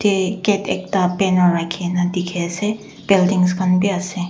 gate ekta banner rakhina dikhiase buildings khan bi ase.